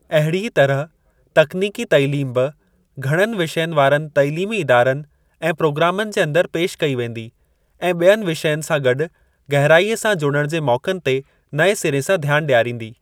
अहिड़ीअ तरह तकनीकी तइलीम बि घणनि विषयनि वारनि तइलीमी इदारनि ऐं प्रोग्रामनि जे अंदर पेशि कई वेंदी ऐं बि॒यनि विषयनि सां गॾु गहराईअ सां जुड़ण जे मौक़नि ते नएं सिरे सां ध्यान डि॒यारींदी।